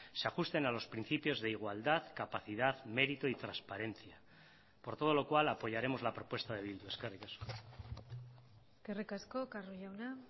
se ajusten a los principios de igualdad capacidad mérito y transparencia por todo lo cual apoyaremos la propuesta de bildu eskerrik asko eskerrik asko carro jauna